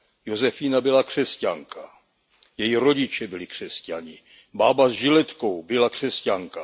Josefína byla křesťanka, její rodiče byli křesťané, bába s žiletkou byla křesťanka.